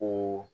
O